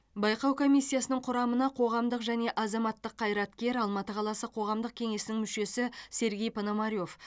байқау комиссиясының құрамына қоғамдық және азаматтық қайраткер алматы қаласы қоғамдық кеңесінің мүшесі сергей пономарев